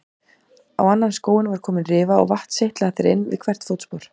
Á annan skóinn var komin rifa og vatn seytlaði þar inn við hvert fótspor.